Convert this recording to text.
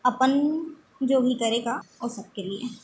अपन जो भी करेगा वो सबके लिए |